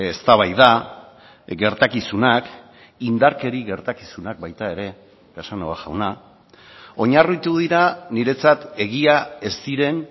eztabaida gertakizunak indarkeria gertakizunak baita ere casanova jauna oinarritu dira niretzat egia ez ziren